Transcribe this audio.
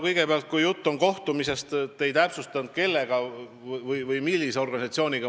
Kõigepealt, kui jutt oli kohtumisest, siis te ei täpsustanud, kellega või millise organisatsiooniga.